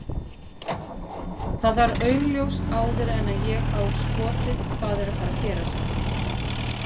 Það var augljóst áður en að ég á skotið hvað er að fara að gerast.